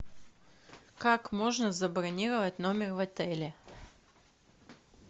как можно забронировать номер в отеле